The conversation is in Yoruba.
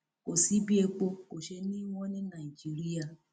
kò sí bí epo kò ṣeé ní i wọn ní nàìjíríà